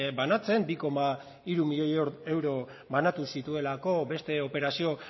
banatzen bi koma hiru milioi euro banatu zituelako beste operazio